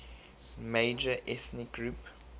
major ethnic group